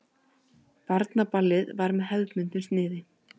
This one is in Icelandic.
Barnaballið var með hefðbundnu sniði.